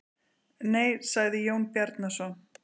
Nei, sagði Jón Bjarnason.